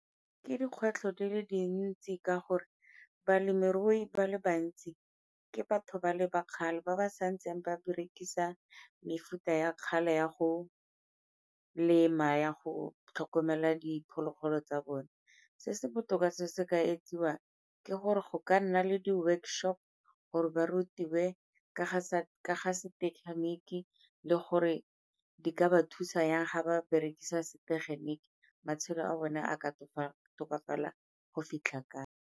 Ke dikgwetlho di le dintsi ka gore balemirui ba le bantsi ke batho ba le ba kgale ba ba sa ntseng ba berekisa mefuta ya kgale ya go lema, ya go tlhokomela diphologolo tsa bone. Se se botoka se se ka etsiwang ke gore go ka nna le di-workshop gore ba rutiwe ka ka ga setegeniki le gore di ka ba thusa yang ga ba berekisa setegeniki, matshelo a bone a ka tokafala go fitlha kae.